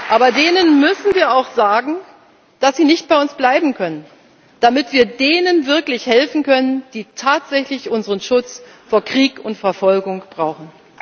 Aber denen müssen wir auch sagen, dass sie nicht bei uns bleiben können, damit wir denen wirklich helfen können, die tatsächlich unseren Schutz vor Krieg und Verfolgung brauchen.